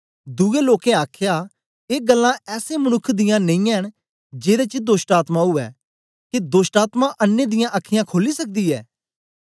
दुए लोकें आखया ऐ गल्लां ऐसे मनुक्ख दियां नेई ऐ न जेदे च दोष्टआत्मा उवै के दोष्टआत्मा अन्नें दियां अखीयाँ खोली सकदी ऐ